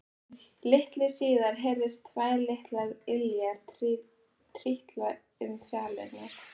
Litlu síðar heyrðust tvær litlar iljar trítla um fjalirnar.